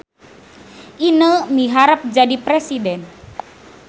Ineu miharep jadi presiden